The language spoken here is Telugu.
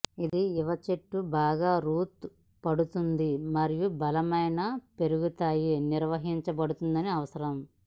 ఇది యువ చెట్టు బాగా రూట్ పడుతుంది మరియు బలమైన పెరుగుతాయి నిర్వహించబడుతుందని అవసరం